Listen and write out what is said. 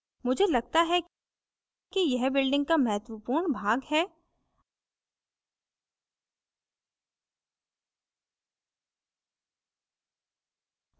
मुझे लगता है कि यह building का महत्वपूर्ण भाग है